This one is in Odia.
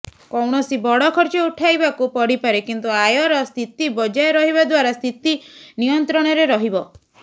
କୌଣସି ବଡ଼ ଖର୍ଚ୍ଚ ଉଠାଇବାକୁ ପଡ଼ିପାରେ କିନ୍ତୁ ଆୟର ସ୍ଥିତି ବଜାୟ ରହିବା ଦ୍ବାରା ସ୍ଥିତି ନିୟନ୍ତ୍ରଣରେ ରହିବ